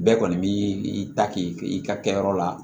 Bɛɛ kɔni b'i ta k'i ka kɛyɔrɔ la